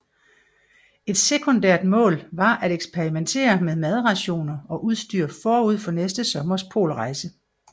Et sekundært mål var at eksperimentere med madrationer og udstyr forud for næste sommers polrejse